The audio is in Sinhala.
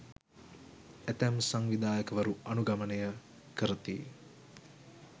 ඇතැම් සංවිධයකවරු අනුගමනය කරති